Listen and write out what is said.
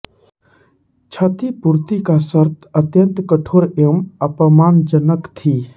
क्षतिपूर्ति की शर्त अत्यंत कठोर एवं अपमानजनक थी